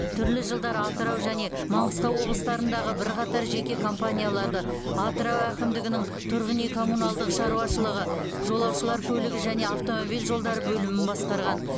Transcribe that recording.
түрлі жылдары атырау және маңғыстау облыстарындағы бірқатар жеке компанияларды атырау әкімдігінің тұрғын үй коммуналдық шаруашылығы жолаушылар көлігі және автомобиль жолдары бөлімін басқарған